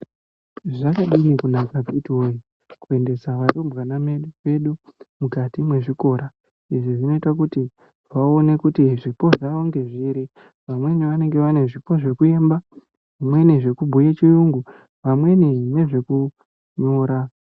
Zvakadini kunaka akiti woye kuendesa arumbwana medu vedu mukati mwezvikora izvi zvinoita kuti vaone kuti zvipo zvawo ngezviri vamweni vanenge Vane zvipo zvekuimba vamweni zvekubhuye chirungu vamweni ngezvekunyora.